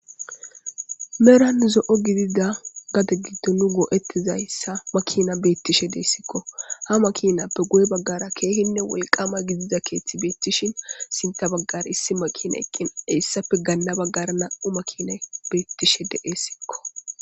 meran zo7o gidida gadon gitto nu goo7ettizayssa makina beettishe deessikko ha makinappe guye baggara keehinne wolqama gidida keethti beettishin sinta baggar issi makina eqqina eyssapfe ganna baggara na7u makina beettishe de7essikko